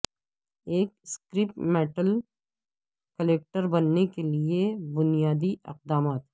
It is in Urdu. ایک سکریپ میٹل کلیکٹر بننے کے لئے بنیادی اقدامات